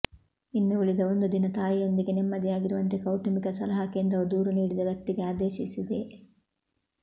ಇನ್ನು ಉಳಿದ ಒಂದು ದಿನ ತಾಯಿಯೊಂದಿಗೆ ನೆಮ್ಮದಿಯಾಗಿರುವಂತೆ ಕೌಟುಂಬಿಕ ಸಲಹಾ ಕೇಂದ್ರವು ದೂರು ನೀಡಿದ ವ್ಯಕ್ತಿಗೆ ಆದೇಶಿಸಿದೆ